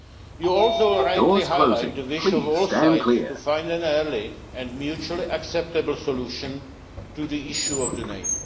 You also rightly highlight the wish of all sides to find an early and mutually acceptable solution to the issue of the